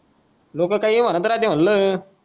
लोक काई म्हणत राहते म्हणलं